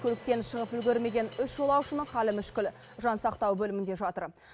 көліктен шығып үлгермеген үш жолаушының халі мүшкіл жансақтау бөлімінде жатыр